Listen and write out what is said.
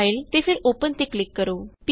file ਤੇ ਫਿਰ open ਤੇ ਕਲਿਕ ਕਰੋ